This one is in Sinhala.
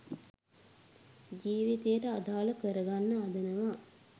ජීවිතයට අදාල කරගන්න හදනවා.